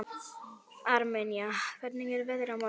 Armenía, hvernig er veðrið á morgun?